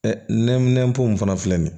Nɛminɛnpo in fana filɛ nin ye